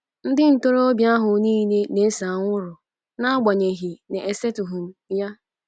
Ndị ntorobịa ahụ nile na-ese anwụrụ, n'agbanyeghị na-esetụghị m ya.